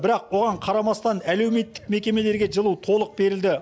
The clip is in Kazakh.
бірақ оған қарамастан әлеуметтік мекемелерге жылу толық берілді